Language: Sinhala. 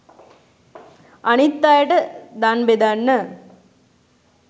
අනිත් අයට දන් බෙදන්න